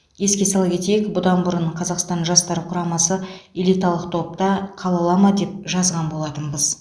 еске сала кетейік бұдан бұрын қазақстан жастар құрамасы элиталық топта қала ала ма деп жазған болатынбыз